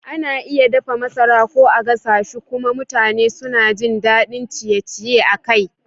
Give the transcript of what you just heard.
Ana iya dafa masara ko a gasa shi kuma mutane suna jin daɗin ciye-ciye a kai.